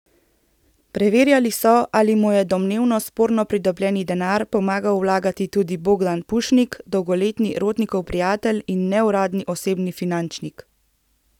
Preverjali so, ali mu je domnevno sporno pridobljeni denar pomagal vlagati tudi Bogdan Pušnik, dolgoletni Rotnikov prijatelj in neuradni osebni finančnik.